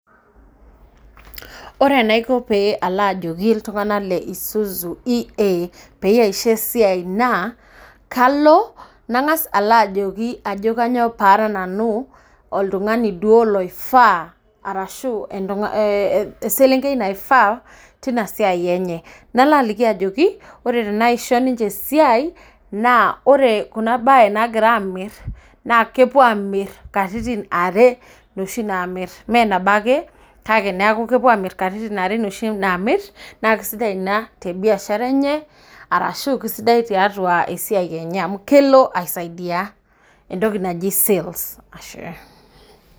Ore enaiko pee elajoki iltung'ana le Isuzu E. A pee aisho esiai naa kanga's alo ajokiajo kainyoo pee ara nanu oltung'ani duo loifaa ashu eselenkei naifaa tinasiai enye nalo ajokiore tenaisho ninche eisia naa ore kulo kuna bae nagira ninche amir naa kepuo amir katitin are noshi namir menabo ake kake kepuo amir katitin are noshi namir naa kisidai ina te biashara enye ashu kisidai tiatua esiai enye amu kelo aisaidia entoki naji sales